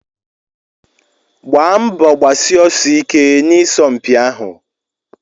Gbaa mbọ gbasie ọsọ ike na isọmpi ahụ!